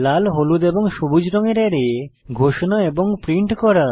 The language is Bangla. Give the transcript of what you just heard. লাল হলুদ এবং সবুজ রঙের অ্যারে ঘোষণা এবং প্রিন্ট করা